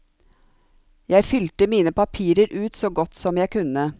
Jeg fylte mine papirer ut så godt som jeg kunne.